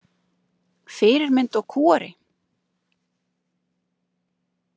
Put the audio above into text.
Fyrirmynd og kúgari?